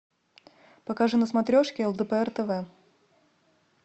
покажи на смотрешке лдпр тв